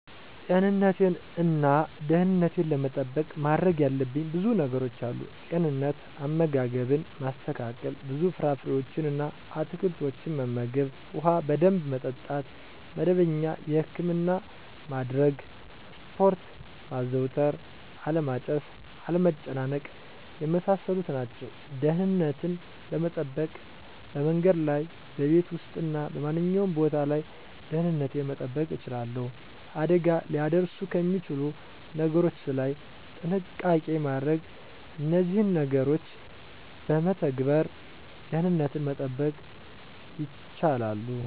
ጤንነቴን እና ደህንነቴን ለመጠበቅ ማድረግ ያለብኝ ብዙ ነገሮች አሉ፦ * ጤንነት፦ * አመጋገብን ማስተካከል፣ ብዙ ፍራፍሬዎችን እና አትክልቶችን መመገብ፣ ውሃ በደንብ መጠጣት፣ መደበኛ የህክምና ማድረግ፣ ስፖርት ማዘውተር አለማጨስ፣ አለመጨናነቅ የመሳሰሉት ናቸው። * ደህንነትን ለመጠበቅ፦ በመንገድ ላይ፣ በቤት ውስጥ እና በማንኛውም ቦታ ላይ ደህንነቴን መጠበቅ እችላለሁ። አደጋ ሊያደርሱ ከሚችሉ ነገሮች ላይ ጥንቃቄ ማድረግ እነዚህን ነገሮች በመተግበር ደህንነትን መጠበቅ ይቻላሉ።